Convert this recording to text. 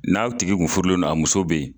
N'a tigi kun furulen don ,a muso be yen.